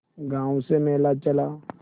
गांव से मेला चला